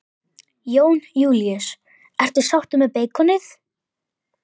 Jón Júlíus: Ertu sáttur með beikonið?